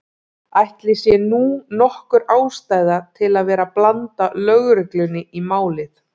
Ætli sé nú nokkur ástæða til að vera að blanda lögreglunni í málið.